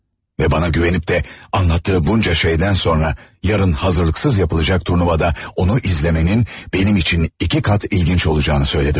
Və bana güvənib də anlattığı bunca şeydən sonra, yarın hazırlıqsız yapılacaq turnuvada onu izləmənin benim üçün iki qat ilginc olacağını söylədim.